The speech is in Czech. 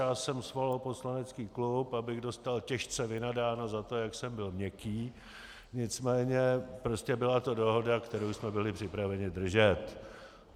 Já jsem svolal poslanecký klub, abych dostal těžce vynadáno za to, jak jsem byl měkký, nicméně prostě byla to dohoda, kterou jsme byli připraveni držet.